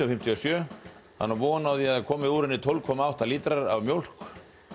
fimmtíu og sjö hann á von á því að það komi úr henni tólf komma átta lítrar af mjólk